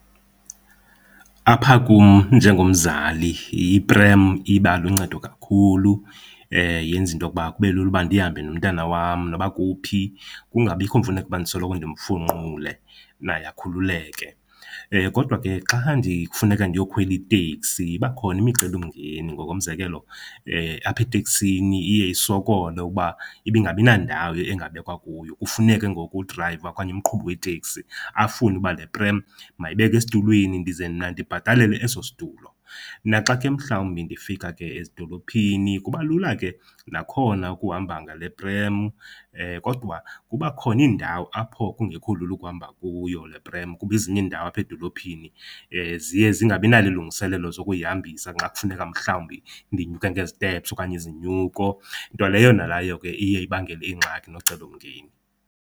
Apha kum njengomzali iprem iba luncedo kakhulu, yenza into okuba kube lula uba ndihambe nomtana wam noba kuphi, kungabikho mfuneko uba ndisoloko ndimfunqule, naye akhululeke. Kodwa ke xa kufuneka ndiyokhwela iteksi iba khona imicelimngeni, ngokomzekelo, apha eteksini iye isokole ukuba ibingabinandawo engabekwa kuyo kufuneke ngoku udrayiva okanye umqhubi weteksi afune uba le prem mayibeke esitulweni ndize mna ndibhatalele eso situlo. Naxa ke mhlawumbi ndifika ke ezidolophini kuba lula ke nakhona ukuhamba ngale prem. Kodwa kuba khona iindawo apho kungekho lula ukuhamba, kuyo le prem kuba ezinye iindawo apha edolophini ziye zingabinalo ilungiselelo zokuyihambisa xa kufuneka mhlawumbi ndinyuke ngezitepsi okanye izinyuko. Nto leyo nayo ke iye ibangele ingxaki nocelomngeni